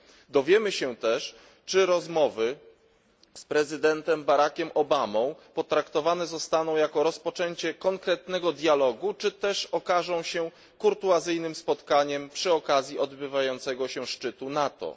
Dowiemy się też, czy rozmowy z prezydentem Barackiem Obamą potraktowane zostaną jako rozpoczęcie konkretnego dialogu, czy też okażą się kurtuazyjnym spotkaniem przy okazji odbywającego się szczytu NATO.